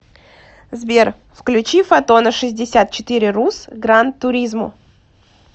сбер включи фотона шестьдесят четыре рус гран туризмо